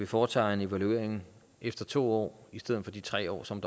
foretager en evaluering efter to år i stedet for de tre år som